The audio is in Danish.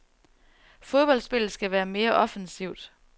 Fodboldspillet skal være mere offensivt.